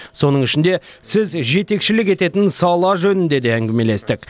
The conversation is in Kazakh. соның ішінде сіз жетекшілік ететін сала жөнінде де әңгімелестік